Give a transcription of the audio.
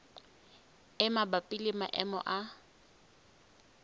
e mabapi le maemo a